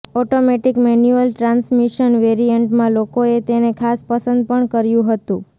automatic manual transmission વેરિઅન્ટમાં લોકોએ તેને ખાસ પસંદ પણ કર્યું હતું